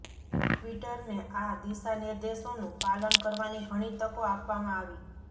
ટ્વિટરને આ દિશાનિર્દેશોનું પાલન કરવાની ઘણી તકો આપવામાં આવી